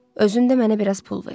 Özün də mənə biraz pul ver.